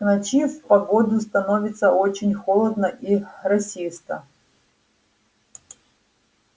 к ночи в погоду становится очень холодно и росисто